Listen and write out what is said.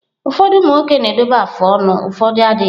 Ụfọdụ umụ nwoke na-edobe afụ ọnụ ụfọdụ adịghị.